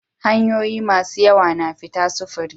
Hanyoyi masu yawa na fita sufuri